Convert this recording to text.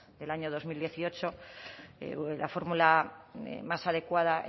del año dos mil dieciocho la fórmula más adecuada